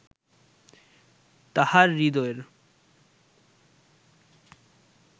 তাঁহার হৃদয়ের